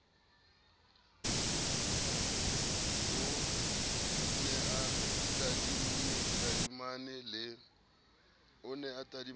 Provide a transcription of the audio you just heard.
o ne a tadimane le